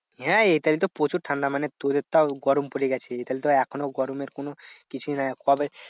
হ্যাঁ এখানে তো প্রচুর ঠান্ডা মানে তোদের তাও গরম পরে গেছে এখানে তো এখনও গরমের কোনো কিছুই নেই। কবে